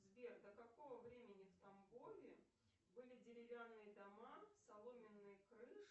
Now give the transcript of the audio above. сбер до какого времени в тамбове были деревянные дома соломенные крыши